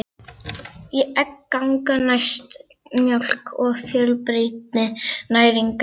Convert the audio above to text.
Egg ganga næst mjólk að fjölbreytni næringarefna.